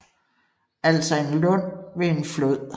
Altså en lund ved en flod